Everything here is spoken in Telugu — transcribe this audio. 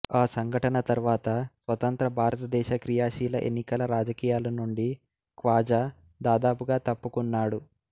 ఆ సంఘటన తర్వాత స్వతంత్ర భారతదేశ క్రియాశీల ఎన్నికల రాజకీయాల నుండి ఖ్వాజా దాదాపుగా తప్పుకున్నాడు